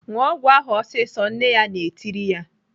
"ṅụọ ọgwụ ahụ ọsịsọ!" Nne ya na-etiri ya.